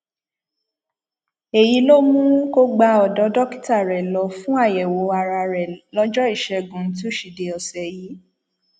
èyí ló mú kó gba ọdọ dókítà rẹ lọ fún àyẹwò ara rẹ lọjọ ìṣẹgun túṣídéé ọsẹ yìí